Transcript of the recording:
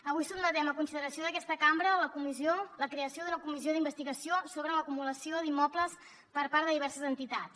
avui sotmetem a consideració d’aquesta cambra la creació d’una comissió d’investigació sobre l’acumulació d’immobles per part de diverses entitats